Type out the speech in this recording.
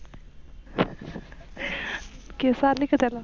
केस आले का त्याला?